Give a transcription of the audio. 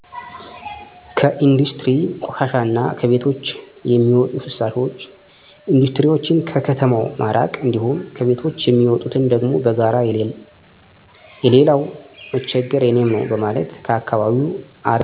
ከኢንዱስትሪ ቆሻሻ እና ከቤቶች ሚዎጡ ፍሳሾች ኢንዱስትሪዎችን ከከተማው ማራቅ እንዲሁም ከቤቶች የሚወጡትን ደግሞ በጋራ የሌላው መቸገር የኔም ነው በማለት ከአከባቢው አርቀን መድፋት ችግር በማያመጣ መልኩ ሌሎችም ሰው አየኝ አላየኝ እያሉ በቅርብ በሚደፉ ሰዎችን እኛው የህግ አካል ሁነን ምከር እና እማይታረሙ ከሆነ ለህግ ማቅረብ።